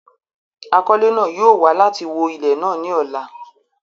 Àkọlẹ̀ náà yóò wa láti wọ ilẹ̀ náà ni ọ̀la.